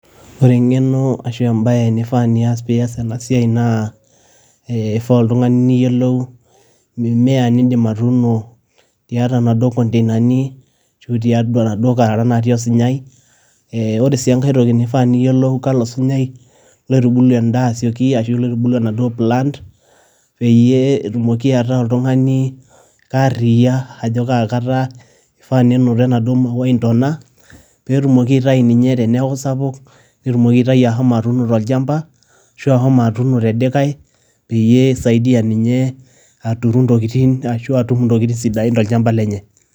Ore eng'eno ashu embae nifaa nias pias ena siai naa eifaa oltung'ani niyielou iniya inindim atuuno tiatua naduo konteinani ashu tiatua naduo kararan natii osunyai. Ore sii enkae toki nifaa niyielou kalo sunyai loitubulu endaa ashu loitubulu endaa asioki ashu loitubulu enaduo plant, peyie etumoki ataa oltung'ani kaaria ajo kaa kata eifaa nenoto enaduo mauai ndona pee etumoki aitayu ninye teneaku sapuk pee etumoki aitayu ashomo atuuno tolchamba ashu ashomo atuuno te dikai, peyie eisaidia ninye aturu intokiting' ashu atur intokiting' sidain tolchamba lenye.